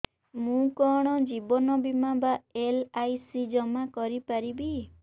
ମୁ କଣ ଜୀବନ ବୀମା ବା ଏଲ୍.ଆଇ.ସି ଜମା କରି ପାରିବି